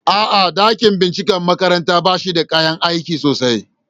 A'a, dakin binciken makarantar ba shi da kayan aiki sosai.